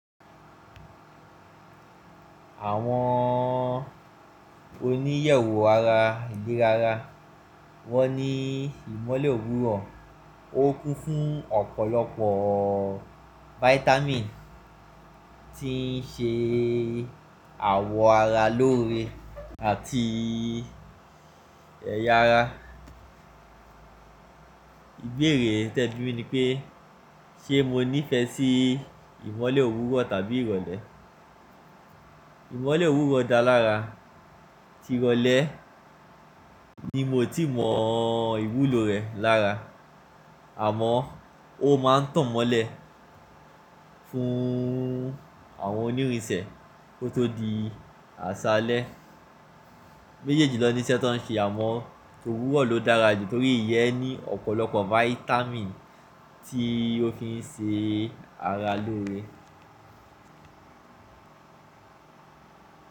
Àwọn oníyẹ̀wò ara ilera ara, wọ́n ní ìmọ́lẹ̀ òwúrọ̀ ó kún fún ọ̀pọ̀lọpọ̀ vitamin tí ń ṣe àwọ̀ ara lóore àti ẹ̀yà ara. Ìbéèrè tí ẹ bí mi ní pé, ṣe mo nífẹ̀ẹ́ sí ìmọ́lẹ̀ òwúrọ̀ tàbí ìrọ̀lẹ́? Ìmọ́lẹ̀ òwúrọ̀ dá lára, tí ìrọ̀lẹ́ ni mo ti mọ ìwúlò rẹ̀ lára. Àmọ́ ó máa ń tàn mọ́lẹ̀ fún àwọn onírinsẹ̀ kó tó di àṣálẹ́. Méjèèjì lọ ní sé tó ń ṣe àmọ́ òwúrọ̀ ló dára jù nítorí ìyẹ́ ní ọ̀pọ̀lọpọ̀ vitamin tí ó fi ń ṣe ara lóore.